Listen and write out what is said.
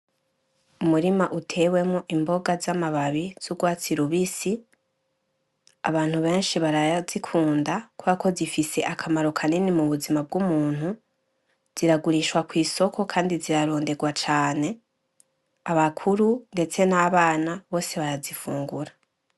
Umurima utewemo imboga z'amababi z'urwatsi lubisi , abantu benshi barazikunda kw ako zifise akamaro kaneni mu buzima bw'umuntu ziragurishwa kw'isoko, kandi ziraronderwa cane abakuru, ndetse n'abana bose barazifungura.